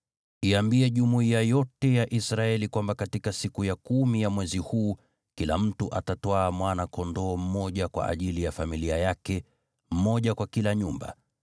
Iambie jumuiya yote ya Israeli kwamba katika siku ya kumi ya mwezi huu, kila mtu atatwaa mwana-kondoo mmoja kwa ajili ya familia yake, mmoja kwa kila nyumba.